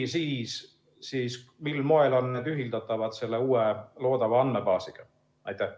Ja kui, siis mil moel on need ühildatavad selle uue loodava andmebaasiga?